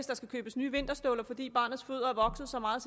der skal købes nye vinterstøvler fordi barnets fødder er vokset så meget